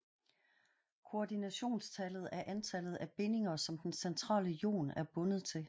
Koordinationstallet er antallet af bindinger som den centrale ion er bundet til